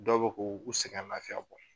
Dɔw bɛ k'u u sɛgɛn lafiya bɔ.